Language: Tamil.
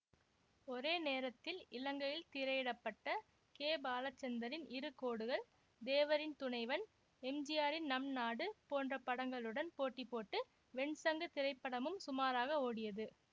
ஒரே நேரத்தில் இலங்கையில் திரையிட பட்ட கே பாலச்சந்தரின் இரு கோடுகள் தேவரின் துணைவன் எம்ஜிஆரின் நம்நாடு போன்ற படங்களுடன் போட்டி போட்டு வெண்சங்கு திரைப்படமும் சுமாராக ஓடியது